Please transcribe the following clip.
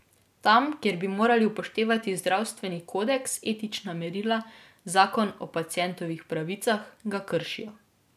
Tam, kjer bi morali upoštevati zdravstveni kodeks, etična merila, zakon o pacientovih pravicah, ga kršijo.